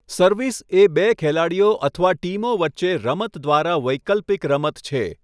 Service એ બે ખેલાડીઓ અથવા ટીમો વચ્ચે રમત દ્વારા વૈકલ્પિક રમત છે.